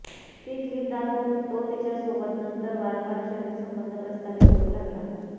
ती क्लिप दाखवून तो तिच्यासोबत नंतर वारंवार शरीर संबंध प्रस्थापित करू लागला